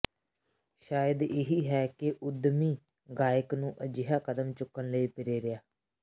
ਸ਼ਾਇਦ ਇਹੀ ਹੈ ਕਿ ਉੱਦਮੀ ਗਾਇਕ ਨੂੰ ਅਜਿਹਾ ਕਦਮ ਚੁੱਕਣ ਲਈ ਪ੍ਰੇਰਿਆ